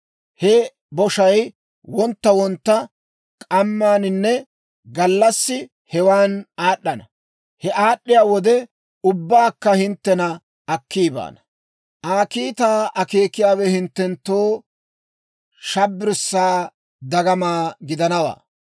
He boshay wontta wontta, k'amminne gallassi hewaana aad'd'ana; he aad'd'iyaa wode ubbankka, hinttena akki baana. Aa kiitaa akeekiyaawe hinttenttoo shabbirssaa dagama gidanawaa.